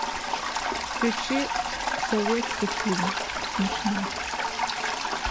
включи советский фильм смешной